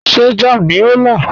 Ṣé jàm ní o n la?